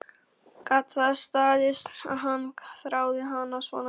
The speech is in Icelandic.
Gat það staðist að hann þráði hana svona mikið?